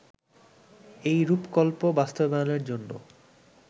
এই রূপকল্প বাস্তবায়নের জন্য